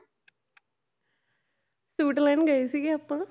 suit ਲੈਣ ਗਏ ਸੀਗੇ ਆਪਾਂ